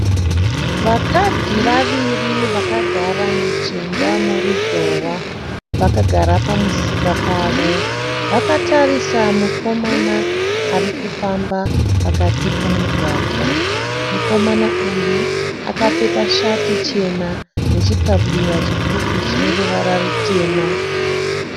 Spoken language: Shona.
Vakadzi vaviri vakagara mujinga moruzhowa. Vakagara pamusika pavo. Vakatarisa mukomana arikufamba pakati pomugwagwa. Mukomana uyu akapfeka shati chena nechikabudura chipfupi chineruvara rutema.